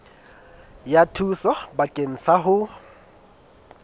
ya thuso bakeng sa ho